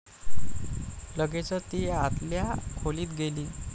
लगेचच ती आतल्या खोलीत गेली.